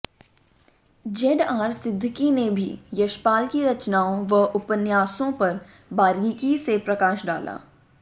ZR Siddiqui ने भी यशपाल की रचनाओं व उपन्यासों पर बारीकी से प्रकाश डाला